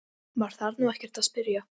Maður þarf nú ekkert að spyrja.